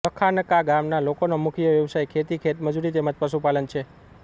લખાનકા ગામના લોકોનો મુખ્ય વ્યવસાય ખેતી ખેતમજૂરી તેમ જ પશુપાલન છે